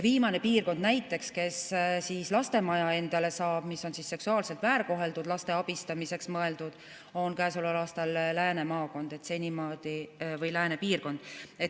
Viimane piirkond näiteks, kes saab endale lastemaja, mis on seksuaalselt väärkoheldud laste abistamiseks mõeldud, on käesoleval aastal lääne piirkond.